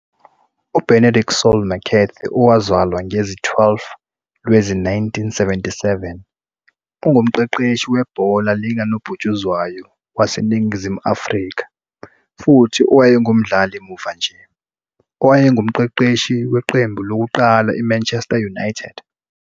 UBenedict Saul McCarthy owazalwa ngezi-12 Lwezi-1977.ungumqeqeshi webhola likanobhutshuzwayo waseNingizimu Afrika futhi owayengumdlali muva nje owayengumqeqeshi weqembu lokuqala I-Manchester United.